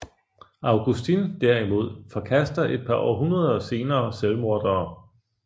Augustin derimod forkaster et par århundreder senere selvmordere